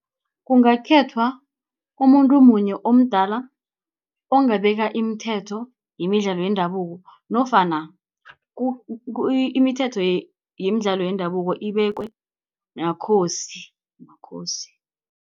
Kungakhethwa umuntu munye omdala, ongabeka imithetho yemidlalo yendabuko, nofana imithetho yemidlalo yendabuko ibekwe makhosi.